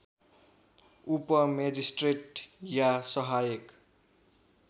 उपमेजिस्ट्रेट या सहायक